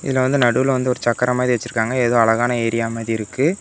இதுல வந்து நடுவுல வந்து ஒரு சக்கரம் மாதிரி வெச்சிருக்காங்க ஏதோ அழகான ஏரியாமரியிருக்கு .